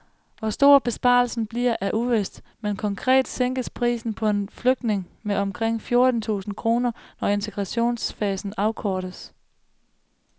Hvor stor besparelsen bliver er uvist, men konkret sænkes prisen på en flygtning med omkring fjorten tusind kroner, når integrationsfasen afkortes.